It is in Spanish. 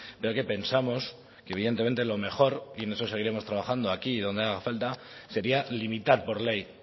pero que pensamos que evidentemente lo mejor y en eso seguiremos trabajando aquí y donde haga falta sería limitar por ley